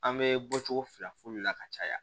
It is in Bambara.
An bɛ bɔcogo fila fu la ka caya